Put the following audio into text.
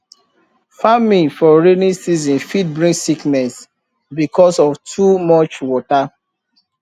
farming for rainy season fit bring sickness because of too much water